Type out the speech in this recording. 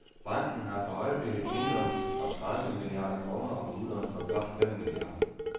Banken har for øjeblikket indlån for tredive milliarder kroner og udlån for blot fem milliarder.